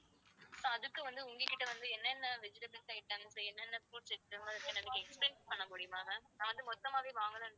so அதுக்கு வந்து உங்ககிட்ட வந்து என்னென்ன vegetables items என்னென்ன fruits இருக்குன்னு எனக்கு explain பண்ணமுடியுமா ma'am நான் வந்து மொத்தமாவே வாங்கலாம்னு இருக்கேன்.